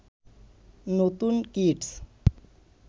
নতুন কিডস